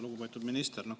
Lugupeetud minister!